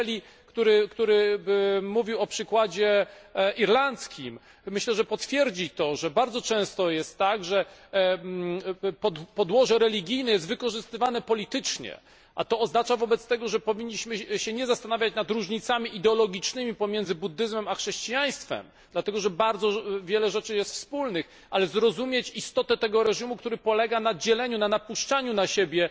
Pan Kelly, który mówił o przykładzie irlandzkim, myślę, że potwierdzi to, że bardzo często jest tak, że podłoże religijne jest wykorzystywane politycznie, co oznacza wobec tego, że powinniśmy się nie zastanawiać nad różnicami ideologicznymi pomiędzy buddyzmem a chrześcijaństwem dlatego że bardzo wiele rzeczy jest wspólnych ale zrozumieć istotę tego reżimu, który polega na dzieleniu, na napuszczaniu na siebie